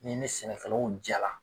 N'i mɛ sɛnɛkɛlaw jala